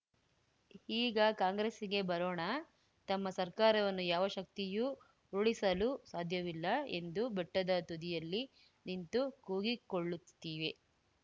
ಈಗ ಕಾಂಗ್ರೆಸ್ಸಿಗೆ ಬರೋಣ ತಮ್ಮ ಸರ್ಕಾರವನ್ನು ಯಾವ ಶಕ್ತಿಯೂ ಉರುಳಿಸಲು ಸಾಧ್ಯವಿಲ್ಲ ಎಂದು ಬೆಟ್ಟದ ತುದಿಯಲ್ಲಿ ನಿಂತು ಕೂಗಿಕೊಳ್ಳುತ್ತಿವೆ